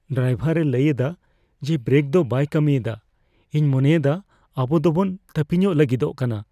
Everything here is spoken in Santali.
ᱰᱨᱟᱭᱵᱷᱟᱨ ᱮ ᱞᱟᱹᱭ ᱮᱫᱟ ᱡᱮ ᱵᱨᱮᱠ ᱫᱚ ᱵᱟᱭ ᱠᱟᱹᱢᱤ ᱮᱫᱟ ᱾ ᱤᱧ ᱢᱚᱱᱮᱭᱮᱫᱟ ᱟᱵᱚ ᱫᱚ ᱵᱚᱱ ᱛᱟᱹᱯᱤᱧᱚᱜ ᱞᱟᱹᱜᱤᱫᱚᱜ ᱠᱟᱱᱟ ᱾